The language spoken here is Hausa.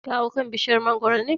Ka hau kan bishiyar mangoro ne?